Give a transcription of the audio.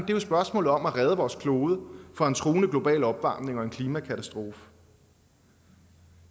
jo spørgsmålet om at redde vores klode fra en truende global opvarmning og en klimakatastrofe